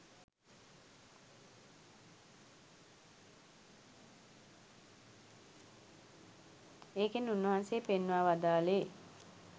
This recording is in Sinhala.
ඒකෙන් උන්වහන්සේ පෙන්වා වදාළේ